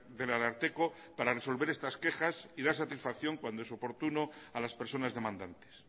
del ararteko para resolver estas quejas ydar satisfacción cuando es oportuno a las personas demandantes